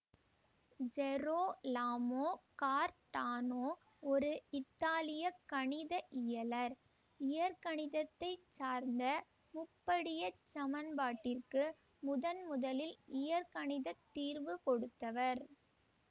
Gerolamo Cardano ஒரு இத்தாலிய கணித இயலர் இயற்கணிதத்தைச் சார்ந்த முப்படியச் சமன்பாட்டிற்கு முதன்முதலில் இயற்கணிதத் தீர்வு கொடுத்தவர்